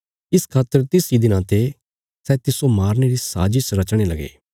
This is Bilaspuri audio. इस खातर तिस इ दिना ते सै तिस्सो मारने री साजस रचणे लगे